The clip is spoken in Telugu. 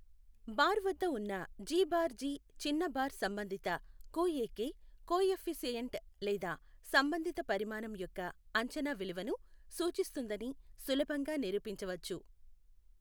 బార్ వద్ద ఉన్న జి బార్ జి చిన్న బార్ సంబంధిత కుఎకె కొఎఫ్ఫిసిఎంట్ లేదా సంబంధిత పరిమాణం యొక్క అంచనా విలువను సూచిస్తుందని సులభంగా నిరూపించవచ్చు.